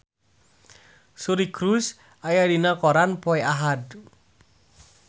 Suri Cruise aya dina koran poe Ahad